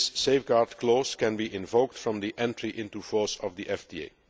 This safeguard clause can be invoked from the entry into force of the FTA.